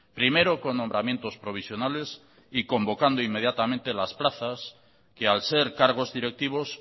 primero con nombramientos provisionales y convocando inmediatamente las plazas que al ser cargos directivos